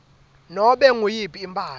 nobe nguyiphi imphahla